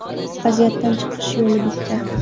Vaziyatdan chiqish yo‘li bitta.